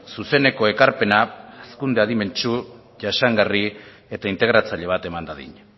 zuzeneko ekarpena hazkunde adimentsu jasangarri eta integratzaile bat eman dadin